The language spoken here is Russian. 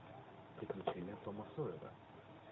приключения тома сойера